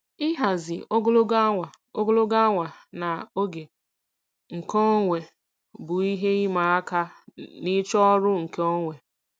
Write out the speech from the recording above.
Ịhazi ogologo awa ogologo awa na oge nkeonwe bụ ihe ịma aka n'ịchọ ọrụ nkeonwe.